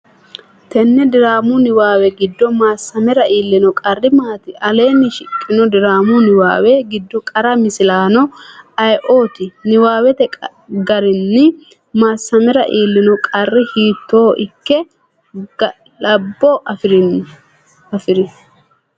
Tenne diraamu niwaawe giddo Maassamera iillino qarri maati? Aleenni shiqqino diraamu niwaawe giddo qara misilaano ayeooti? Niwaawete garinni Maassamera iillino qarri hiitto ikke galabbo afi’ri?